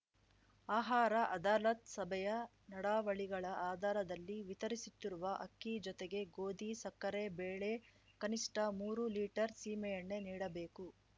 ಆಹಾರ ಅದಾಲತ್‌ ಸಭೆಯ ನಡಾವಳಿಗಳ ಆಧಾರದಲ್ಲಿ ವಿತರಿಸುತ್ತಿರುವ ಅಕ್ಕಿ ಜೊತೆಗೆ ಗೋಧಿ ಸಕ್ಕರೆ ಬೇಳೆ ಕನಿಷ್ಠ ಮೂರು ಲೀಟರ್‌ ಸೀಮೆಎಣ್ಣೆ ನೀಡಬೇಕು